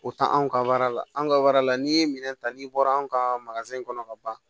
O taa anw ka la an ka la n'i ye minɛn ta n'i bɔra an ka kɔnɔ ka ban